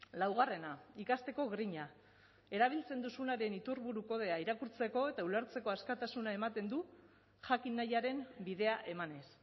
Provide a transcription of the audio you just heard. laugarrena ikasteko grina erabiltzen duzunaren iturburu kodea irakurtzeko eta ulertzeko askatasuna ematen du jakin nahiaren bidea emanez